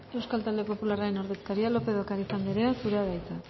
euskal talde popularraren ordezkariak lópez de ocariz andrea zurea da hitza